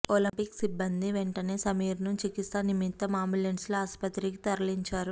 Olympic సిబ్బంది వెంటనే సమీర్ను చికిత్స నిమిత్తం అంబులెన్స్లో ఆస్పత్రికి తరలించారు